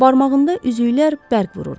Barmağında üzüklər bərq vururdu.